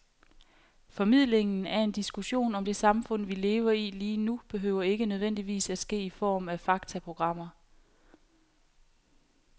Formidlingen af en diskussion om det samfund, vi lever i lige nu, behøver ikke nødvendigvis at ske i form af faktaprogrammer.